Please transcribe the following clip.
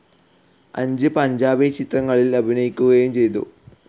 അഞ്ച് പഞ്ചാബി ചിത്രങ്ങളിൽ അഭിനയിക്കുകയും ചെയ്തു.